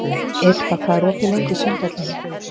Irpa, hvað er opið lengi í Sundhöllinni?